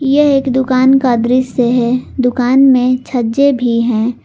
यह एक दुकान का दृश्य है दुकान में छज्जे भी हैं।